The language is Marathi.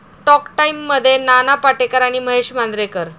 टॉक टाइममध्ये नाना पाटेकर आणि महेश मांजरेकर